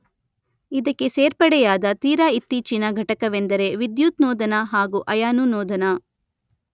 ಇದಕ್ಕೆ ಸೇರ್ಪಡೆಯಾದ ತೀರ ಇತ್ತೀಚಿನ ಘಟಕವೆಂದರೆ ವಿದ್ಯುತ್ ನೋದನ ಹಾಗು ಅಯಾನು ನೋದನ.